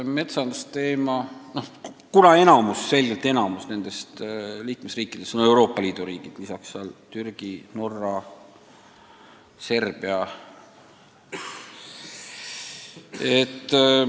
Peale Euroopa Liidu riikide kuuluvad liikmeskonda ka Türgi, Norra ja Serbia.